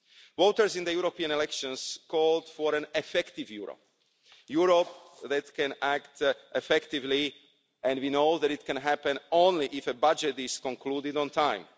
Voters in the European elections called for an effective Europe, a Europe that can act effectively, and we know that this can happen only if a budget is concluded on time.